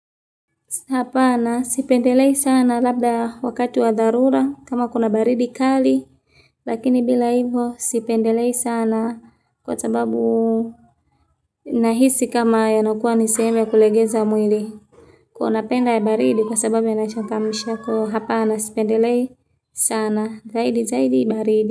Hapana sipendelei sana labda wakati wa dharura kama kuna baridi kali lakini bila hivyo sipendelei sana kwa sababu. Nahisi kama yanokuwa ni sehemu ya kulegeza mwili. Kuna penda ya baridi kwa sababu yanachangamsha ko hapana sipendelei. Sana zaidi zaidi baridi.